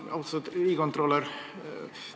Austatud riigikontrolör!